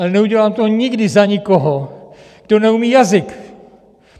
Ale neudělám to nikdy za nikoho, kdo neumí jazyk!